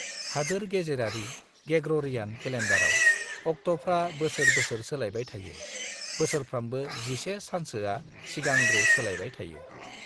हादोर-गेजेरारि (Gregorian) केलेन्डारआव, अक्ट'फ्रा बोसोर-बोसोर सोलायबाय थायो, बोसोरफ्रामबो 11 सानसोआ सिगांग्रो सोलायबाय थायो।